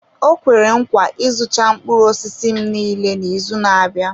O kwere nkwa ịzụcha mkpụrụ m niile n'izu na-abịa.